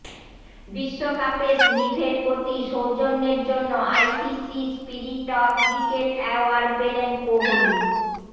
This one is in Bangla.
বিশ্বকাপে স্মিথের প্ৰতি সৌজন্যের জন্য ICC spirit of cricket award পেলেন কোহলি